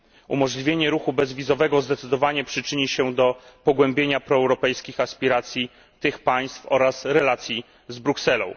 Umożliwienie ruchu bezwizowego zdecydowanie przyczyni się do pogłębienia proeuropejskich aspiracji tych państw oraz relacji z Brukselą.